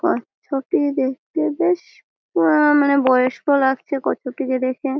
কচ্ছপটি দেখতে বেশ আ মানে বয়স্ক লাগছে কচ্ছপটিকে দেখে ।